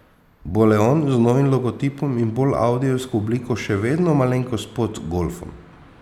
Bo leon z novim logotipom in bolj audijevsko obliko še vedno malenkost pod golfom?